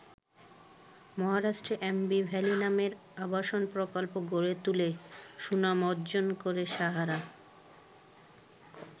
মহারাষ্ট্রে অ্যাম্বি ভ্যালি নামের আবাসন প্রকল্প গড়ে তুলে সুনাম অর্জন করে সাহারা।